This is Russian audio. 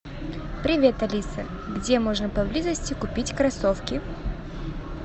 привет алиса где можно поблизости купить кроссовки